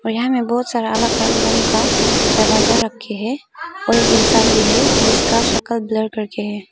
और यहां में बहुत सारा अलग अलग रंग का दरवाजा रख के है और एक इंसान भी है जिसका शकल ब्लर कर के है।